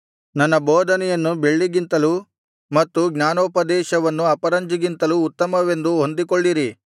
ನನ್ನ ಬೋಧನೆಯನ್ನು ಬೆಳ್ಳಿಗಿಂತಲೂ ಮತ್ತು ಜ್ಞಾನೋಪದೇಶವನ್ನು ಅಪರಂಜಿಗಿಂತಲೂ ಉತ್ತಮವೆಂದು ಹೊಂದಿಕೊಳ್ಳಿರಿ